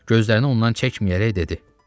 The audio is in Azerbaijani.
Gözlərini ondan çəkməyərək dedi: